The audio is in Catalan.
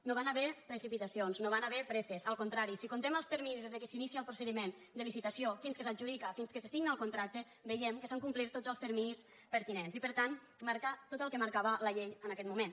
no hi van haver precipitacions no hi van haver presses al contrari si comptem els terminis des que s’inicia el procediment de licitació fins que s’adjudica fins que se signa el contracte veiem que s’han complert tots els terminis pertinents i per tant marcar tot el que marcava la llei en aquest moment